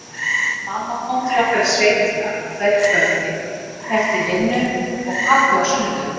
Mamma kom til okkar í sveitina á hverju kvöldi eftir vinnu og pabbi á sunnudögum.